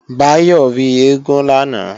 Báyọ̀ rí eégún lánàá